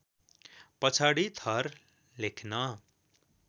पछाडी थर लेख्न